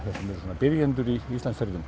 svona byrjendur í Íslandsferðum